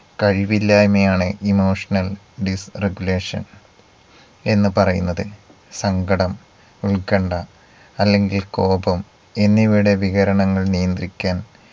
കഴിവില്ലായ്മയാണ് emotional disregulation എന്ന് പറയുന്നത്. സങ്കടം ഉത്കണ്ഠ അല്ലെങ്കിൽ കോപം എന്നിവയുടെ വികരണങ്ങൾ നിയന്ത്രിക്കാൻ